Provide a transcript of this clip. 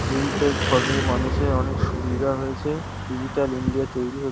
এইটার ফলে মানুষের অনেক সুবিধা হয়েছে। ডিজিটাল ইন্ডিয়া তৈরী হ --